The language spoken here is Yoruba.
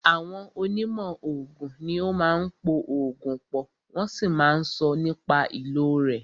Àwọn onímọ̀ oògùn ní o máà ń po oògùn pọ̀, wọ́n sì máà ń sọ nípa ìlò rẹ̀.